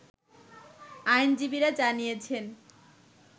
আইনজীবীরা জানিয়েছেন